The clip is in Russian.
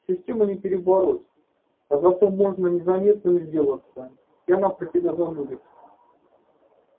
систему не перебороть а зато можно незаметным сделаться и она про тебя забудет